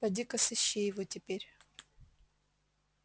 пойди-ка сыщи его теперь